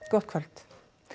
gott kvöld